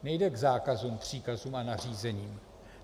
Nejde k zákazům, příkazům a nařízením.